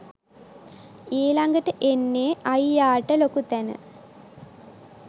ඊලඟට එන්නේ අයියාට ලොකු තැන